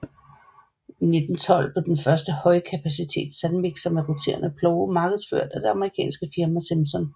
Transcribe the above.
I 1912 blev den første højkapacitets sandmikser med roterende plove markedsført af det amerikanske firma Simpson